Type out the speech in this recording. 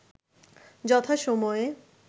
যথা সময়ে